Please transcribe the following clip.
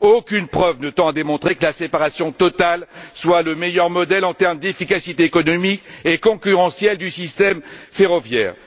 Aucune preuve ne tend à démontrer que la séparation totale soit le meilleur modèle en termes d'efficacité économique et concurrentielle du système ferroviaire.